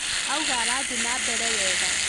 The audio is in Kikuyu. Auga arathi na mbere wega